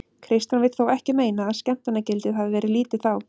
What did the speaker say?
Kristján vill þó ekki meina að skemmtanagildið hafið verið lítið þá.